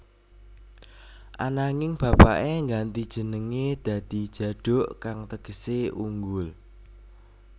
Ananging bapaké ngganti jenengé dadi Djaduk kang tegesé unggul